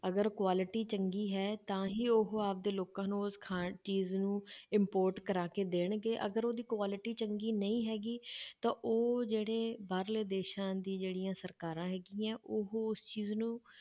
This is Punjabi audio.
ਅਗਰ quality ਚੰਗੀ ਹੈ ਤਾਂ ਹੀ ਉਹ ਆਪਦੇ ਲੋਕਾਂ ਨੂੰ ਉਸ ਖਾ~ ਚੀਜ਼ ਨੂੰ import ਕਰਵਾ ਕੇ ਦੇਣਗੇ ਅਗਰ ਉਹਦੀ quality ਚੰਗੀ ਨਹੀਂ ਹੈਗੀ ਤਾਂ ਉਹ ਜਿਹੜੇ ਬਾਹਰਲੇ ਦੇਸਾਂ ਦੀ ਜਿਹੜੀਆਂ ਸਰਕਾਰਾਂ ਹੈਗੀਆਂ ਉਹ ਉਸ ਚੀਜ਼ ਨੂੰ